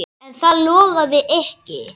En það logaði ekki.